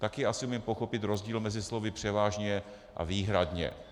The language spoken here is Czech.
Také asi umím pochopit rozdíl mezi slovy převážně a výhradně.